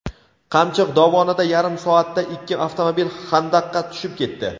Qamchiq dovonida yarim soatda ikki avtomobil xandaqqa tushib ketdi.